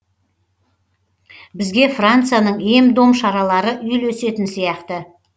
бізге францияның ем дом шаралары үйлесетін сияқты